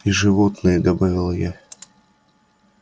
и животные добавила я